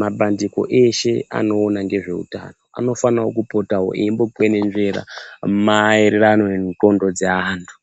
Mabandiko eshe anoona ngezveutano, anofane kupota eimbokwenenzvera maererano nengqondo dzeanthu.